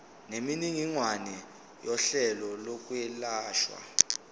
nemininingwane yohlelo lokwelashwa